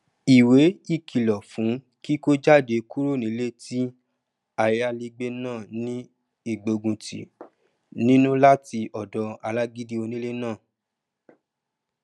ìwé ìkìlọ fún kíkó jáde kúrò nílé tí ayálégbé náà ní ìgbóguntì nínú latí ọdọ alágídí onílé náà